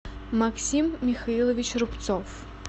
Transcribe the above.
максим михайлович рубцов